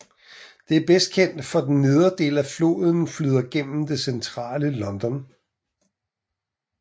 Den er bedst kendt fordi den nedre del af floden flyder gennem det Centrale London